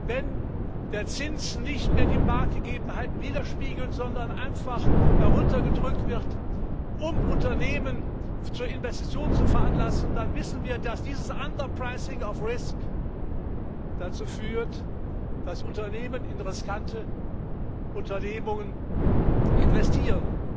Wenn der Zins nicht mehr die Marktgegebenheiten widerspiegelt, sondern einfach heruntergedrückt wird, um Unternehmen zu Investitionen zu veranlassen, dann wissen wir, dass dieses underpricing of risk dazu führt, das Unternehmen in riskante Unternehmungen investieren